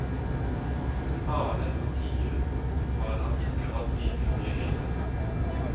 Hare og tiur har han ikke hatt like mye hell med.